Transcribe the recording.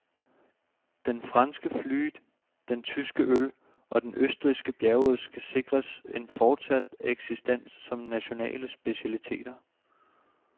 Den franske flute, den tyske øl og den østrigske bjergost skal sikres en fortsat eksistens som nationale specialiteter.